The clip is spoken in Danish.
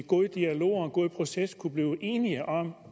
god dialog og en god proces kunne blive enige om